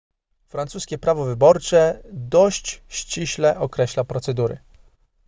francuskie prawo wyborcze dość ściśle określa procedury